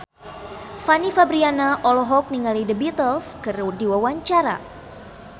Fanny Fabriana olohok ningali The Beatles keur diwawancara